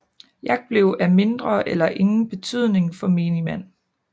Jagt blev af mindre eller ingen betydning for menigmand